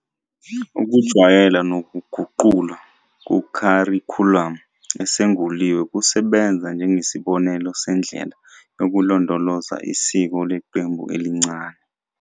Ukujwayela nokuguqulwa kukharikhulamu esunguliwe kusebenza njengesibonelo sendlela yokulondoloza isiko leqembu elincane.